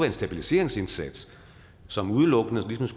en stabiliseringsindsats som udelukkende